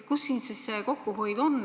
Kus siin see kokkuhoid on?